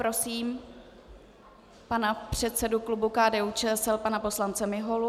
Prosím pana předsedu klubu KDU-ČSL pana poslance Miholu.